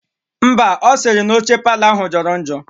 Ḿbà, osiri na oche parlour ahu joro njo.